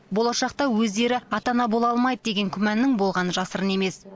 болашақта өздері ата ана бола алмайды деген күмәннің болғаны жасырын емес